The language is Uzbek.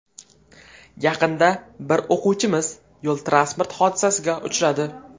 Yaqinda bir o‘quvchimiz yo‘l-transport hodisasiga uchradi.